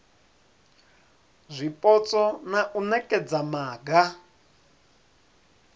zwipotso na u nekedza maga